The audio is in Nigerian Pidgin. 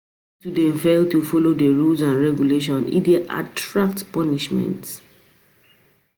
If students fail to follow the rules and regulations e de attract punishment